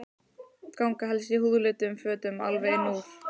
Ganga helst í húðlituðum fötum alveg inn úr.